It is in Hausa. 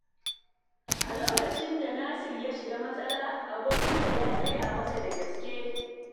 A lokacin da Nasir ya shiga matsala, abokinsa ya tsaya masa da gaske.